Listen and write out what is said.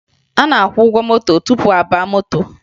A na-akwụ ụgwọ moto tupu a baa moto